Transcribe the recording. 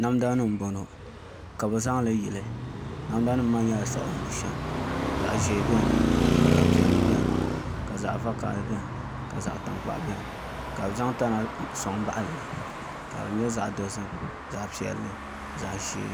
Namda nimn bɔŋɔ ka bi zaŋli yili namda nim maa nyɛla siɣim bushɛm zaɣ ʒiɛ biɛni ka zaɣ piɛlli biɛni ka zaɣ vakaɣali biɛni ka zaɣ tankpaɣu biɛni ka bi zaŋ tana soŋ baɣali li ka di nyɛ zaɣ dozim zaɣ piɛlli zaɣ ʒiɛ